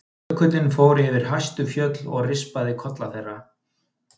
Jökullinn fór yfir hæstu fjöll og rispaði kolla þeirra.